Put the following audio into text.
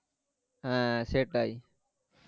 হ্যাঁ, সেটাই